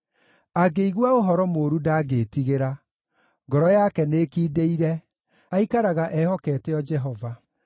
Angĩigua ũhoro mũũru ndangĩĩtigĩra; ngoro yake nĩĩkindĩire, aikaraga ehokete o Jehova.